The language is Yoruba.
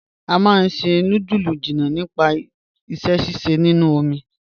A máá n ṣẹ̀ nùdúlù jìnnà nípasẹ̀ síṣẹ̀ nínu omi."